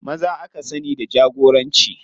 Maza aka sani da jagoranci.